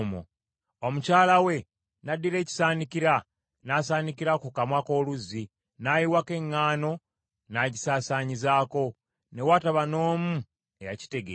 Omukyala we n’addira ekisaanikira n’asaanikira ku kamwa k’oluzzi, n’ayiwako eŋŋaano n’agisaasaanyizaako. Ne wataba n’omu eyakitegeera.